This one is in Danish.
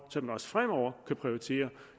så vi også fremover kan prioritere